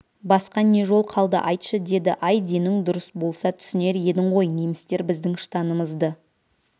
басқа не жол қалды айтшы деді ай денің дұрыс болса түсінер едің ғой немістер біздің штанымызды